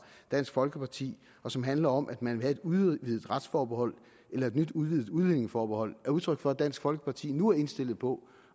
dansk folkeparti og som handler om at man vil have et udvidet retsforbehold eller et nyt udvidet udlændingeforbehold er udtryk for at dansk folkeparti nu er indstillet på